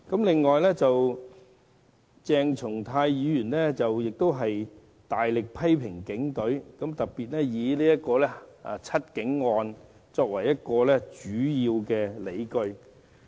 此外，鄭松泰議員亦大力批評警隊，並提出"七警案"作為主要的理據。